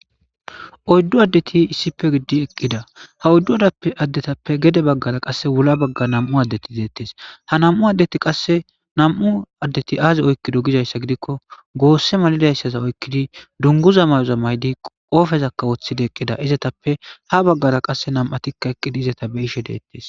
Oydu adeti issipe gididi eqida ha oydu adetape gede wulla bagara qasse nam'u adeti detees ha nam'u adeti qase Azi oykido gizaysa gidiko gosse malizaysa oykidi dunguzo mayoza mayidi qofe wothidika eqida izetape ha bagara qase nam'u